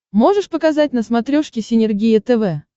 можешь показать на смотрешке синергия тв